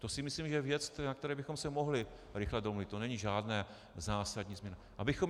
To si myslím, že je věc, na které bychom se mohli rychle domluvit, to není žádná zásadní změna.